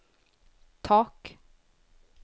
tak